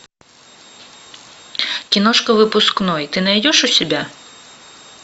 киношка выпускной ты найдешь у себя